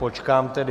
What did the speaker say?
Počkám tedy...